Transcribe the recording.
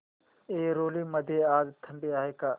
ऐरोली मध्ये आज थंडी आहे का